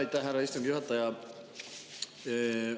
Aitäh, härra istungi juhataja!